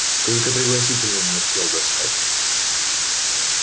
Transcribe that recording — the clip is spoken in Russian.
только пригласительные не успел достать